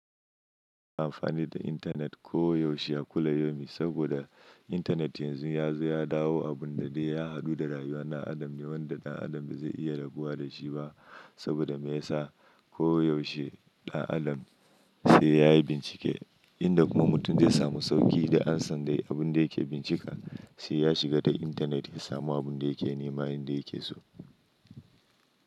Amfani da intanet koyaushe a kullo yaumin saboda intanet yanzu yazo ya dawo abun da dai ya haɗu da rayuwar ɗan adam ne wanda ɗan adam ba zai iya rabuwa da shi ba saboda me yasa koyaushe ɗan adam sai yayi bincike inda kuma mutum zai samu sauƙi da ansan dai abun da yake bincika sai ya shiga ta intanet ya samu abun da yake nema inda yake so.